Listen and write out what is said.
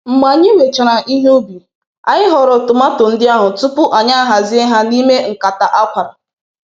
Mgbe anyị wechara ihe ubi, anyị họrọ tomato ndị ahụ tupu anyị a hazie ha n'ime nkata akwara.